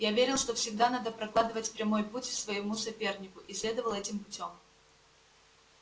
я верил что всегда надо прокладывать прямой путь в своему сопернику и следовал этим путём